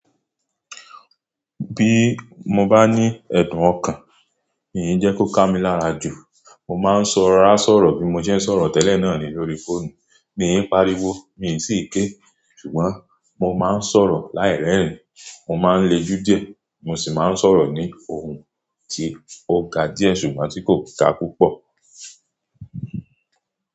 Bí mo bá ní ẹ̀dùn ọkàn, mi je kó ká mi lára jù. Mo máa ń sọ rásọ̀rọ̀ bí mo ṣe ń sọ̀rọ̀ tẹ́lẹ̀ náà nì lórí fóònù. Mi ń pariwo, mi sì í ké. Ṣùgbọ́n mo máa ń sọ̀rọ̀ láìrẹ̀rìn, mo máa ń lejú diè, mo sì máa ń sọ̀rọ̀ ní ohùn ti ọ̀gá díẹ̀ ṣùgbọ́n tí kò ga púpọ̀.